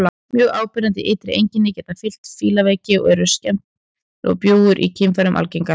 Mjög áberandi ytri einkenni geta fylgt fílaveiki og eru skemmdir og bjúgur í kynfærum algengar.